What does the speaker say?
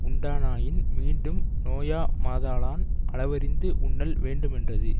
உண்பானாயின் மீண்டும் நோயா மா தலான் அளவறிந்து உண்ணல் வேண்டுமென்றது